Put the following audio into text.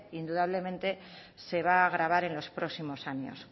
indudablemente se va a agravar en los próximos años